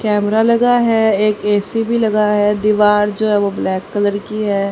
Camera लगा है एक ए_सी भी लगा है दीवार जो है वो ब्लैक कलर की हैं।